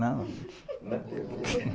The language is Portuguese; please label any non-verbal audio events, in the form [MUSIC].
Não. [LAUGHS]